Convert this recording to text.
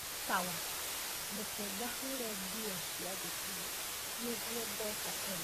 sawa, reke ngahũre nguo cia thukuru nĩguo ngoka tene